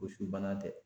Gosi bana tɛ